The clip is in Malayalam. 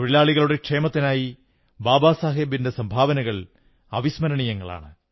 തൊഴിലാളികളുടെ ക്ഷേമത്തിനായി ബാബാ സാഹബിന്റെ സംഭാവനകൾ അവസ്മരണീയങ്ങളാണ്